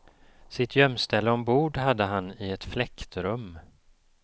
Sitt gömställe ombord hade han i ett fläktrum.